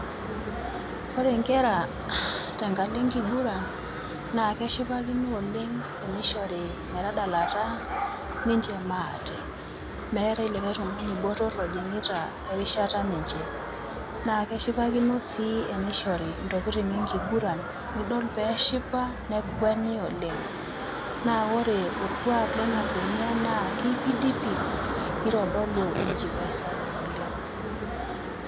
ore inkera tenkalo enkiguran na keshipakino oleng' tenishori metadalata ninche maate, metae olikae tung'ani botor ojing'ita erishata ninche, na keshipakino si tenishori intokitin enkiguran, nidol peshipa nekweni oleng' na ore olkuak lena kwenia na kipindi nitodolu enchipai sapuk oleng',